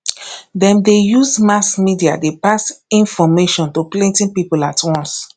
dem dey use mass media dey pass information to plenty people at once